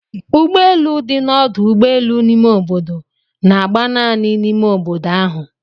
Ụgbọelụ dị na ọdu ụgbọelụ ime obodo na-agba naanị n'ime obodo ahụ.